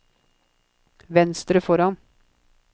venstre foran